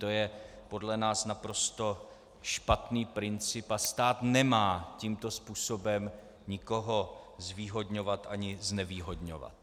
To je podle nás naprosto špatný princip a stát nemá tímto způsobem nikoho zvýhodňovat ani znevýhodňovat.